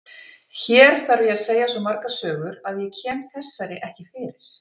Hér þarf ég að segja svo margar sögur að ég kem þessari ekki fyrir.